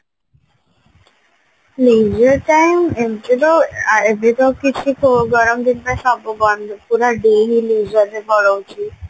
leisure time ଏମତି ତ ଏବେ ତ କିଛି ଗରମ ଦିନରେ ସବୁ ବନ୍ଦ ପୁରା day ହି leisure ରେ ପଲଉଛି